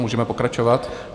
Můžeme pokračovat.